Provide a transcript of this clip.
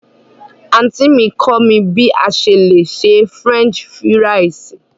Anti mi kọ mi bí à sẹ le sè French fírìsí.